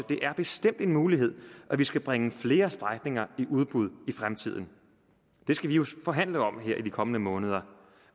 det bestemt er en mulighed at vi skal bringe flere strækninger i udbud i fremtiden det skal vi jo forhandle om her i de kommende måneder